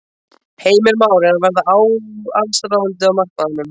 Heimir: Már er að verða allsráðandi á markaðnum?